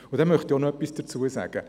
Dazu möchte ich auch noch etwas sagen.